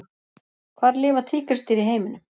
Hvar lifa tígrisdýr í heiminum?